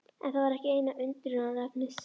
En það var ekki eina undrunarefnið.